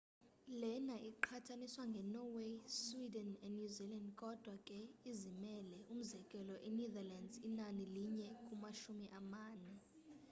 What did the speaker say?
lena iqhathaniswa nge norway sweden and new zealand kodwa ke izimele umzekelo e netherlands inani linye kumashumi amane